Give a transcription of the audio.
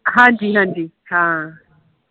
ਹਾਂਜੀ ਹਾਂਜੀ ਹਾਂ